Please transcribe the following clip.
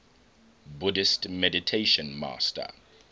buddhist meditation master